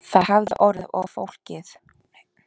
Það hefði orðið of flókið